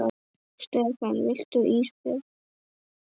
Stefán: Viltu ís Björn?